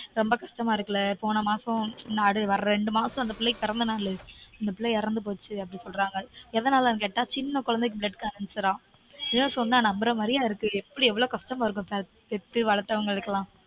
ரொம்ப கஷ்டமா இருக்கில்ல? போன மாசம் நாடு ரெண்டு மாசம் அந்த பிள்ளைக்கு பிறந்தனாளு அந்த பிள்ள எறந்து போச்சு அப்டீன்றாங்க எதனாலனு கேட்டா சின்ன கொழந்தைக்கு blood cancer -ஆம் இதெல்லாம் சொன்னா நம்பற மாதிரியா இருக்கு எப்படி எவ்ளோ கஷ்டமா இருக்கும் பெத்து வளத்தவங்களுக்கெல்லாம்